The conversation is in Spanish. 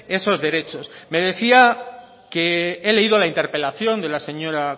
esos derechos me decía que he leído la interpelación de la señora